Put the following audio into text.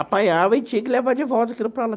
Apanhava e tinha que levar de volta aquilo para lá